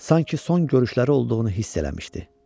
Sanki son görüşləri olduğunu hiss eləmişdi.